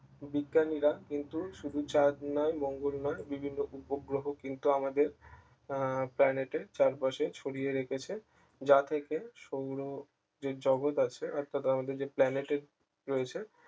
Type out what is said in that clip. বিজ্ঞানীরা কিন্তু শুধু চাঁদ নয় মঙ্গল নয় বিভিন্ন উপগ্রহ কিন্তু আমাদের আহ planet এর চারপাশে ছড়িয়ে রেখেছে যা থেকে সৌর যে জগত আছে অর্থাৎ আমাদের যে planet এ রয়েছে